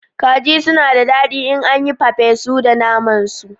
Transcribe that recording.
Kaji suna da dadi in an yi papesu da naman su